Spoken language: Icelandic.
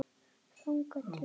Þangað til þá.